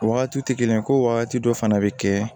O wagatiw tɛ kelen ye ko wagati dɔ fana bɛ kɛ